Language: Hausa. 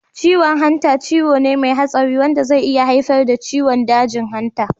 Ciwon hanta ciwo ne mai hatsari wanda zai iya haifar da ciwon dajin hanta.